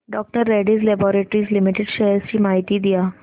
डॉ Reddy's laboratories limited shares ची माहिती द्या